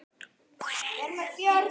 Magnús: Veistu hvað kemur alltaf?